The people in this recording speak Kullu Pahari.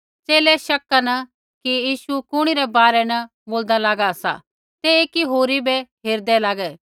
च़ेले शक्का न कि यीशु कुणी रै बारै न बोल्दा लागा सा तै एकी होरी बै हेरदै लागै